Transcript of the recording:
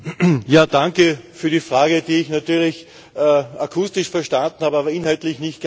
Danke für die Frage, die ich natürlich akustisch verstanden habe, aber inhaltlich nicht ganz.